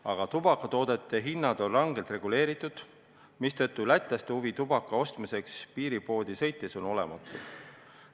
Aga tubakatoodete hinnad on rangelt reguleeritud, mistõttu Läti elanike huvi tubaka ostmiseks piiripoodi sõita on olematu.